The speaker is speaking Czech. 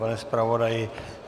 Pane zpravodaji?